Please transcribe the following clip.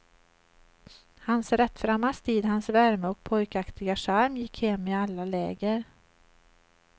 Hans rättframma stil, hans värme och pojkaktiga charm gick hem i alla läger.